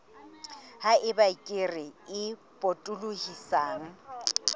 ha eba kere e potolohisang